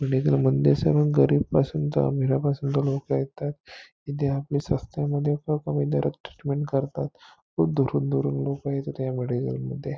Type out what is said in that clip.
ह्या मेडिसिन मध्ये सगळे गरीब पासून चांगले पण लोक येतात इथे आपले स्वस्त्यामध्ये करतात खुप दुरून दुरून लोक येतात त्या मेडिसिन मध्ये --